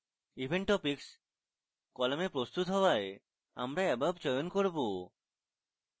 event topics column presented হওয়ায় আমরা above চয়ন করব